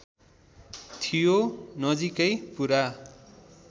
थियो नजिकै पुरा